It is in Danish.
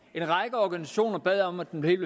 en række organisationer bad om at den helt